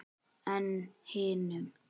En hinum?